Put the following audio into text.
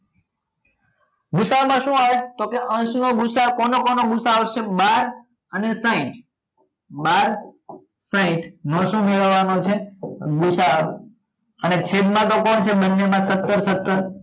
ગુ સા અ માં શું આવે તો કે અંશ નો ગુ સા અ કોનો કોનો ગુ સા અ આવશે બાર અને સાહીંઠ બાર સાહીંઠ નો સુ મેળવવા નો છે ગુ સા અ અને છેદ માં તો કોણ છે બંને માં સત્તર સત્તર